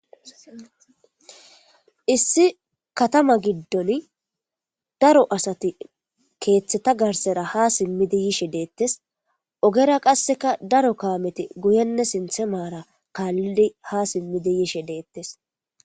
issi katama giddon daro asati keeththeta garsera ha simmidi yishe deettes ogera qasseka daro kaameti guyenne sinthemaara kaallidi ha simmidi yishe deettes